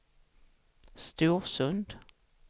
Storsund